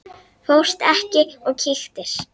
Fórstu ekki og kíktir?